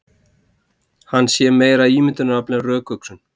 Hann sé meira ímyndunarafl en rökhugsun